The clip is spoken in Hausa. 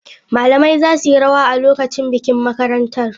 Malamai za su yi rawa a lokacin bikin makarantar.